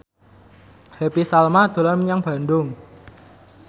Happy Salma dolan menyang Bandung